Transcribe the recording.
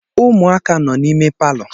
Ụmụaka nọ n'ime palọ.